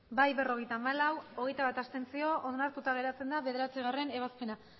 bai berrogeita hamalau abstentzioak hogeita bat onartuta geratzen da bederatzigarrena ebazpena